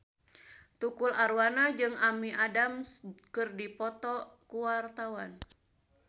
Tukul Arwana jeung Amy Adams keur dipoto ku wartawan